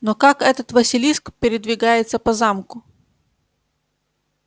но как этот василиск передвигается по замку